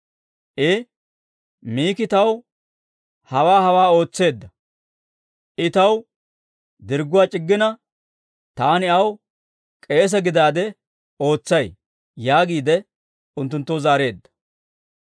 I, «Miki taw hawaa hawaa ootseedda; I taw dirgguwaa c'iggina, taani aw k'eese gidaade ootsay» yaagiide unttunttoo zaareedda.